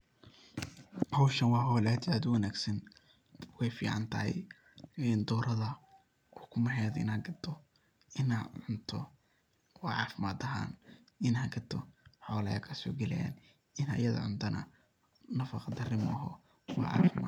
Howshan wa howl aad iyo aad uwanagsan, weyficantahay in doorada ukumeheda ina gado, ina cuunto wacafimaad ahan, ina gado xola kasogalayan, ina iyada cuntana nafaqa dari maoho wa cafimaad.